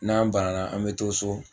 N'an banana an mɛ to so.